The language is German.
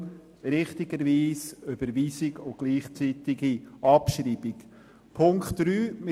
Darum wird richtigerweise Überweisung und gleichzeitige Abschreibung von Punkt 2 beantragt.